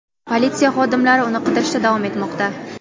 Politsiya xodimlari uni qidirishda davom etmoqda.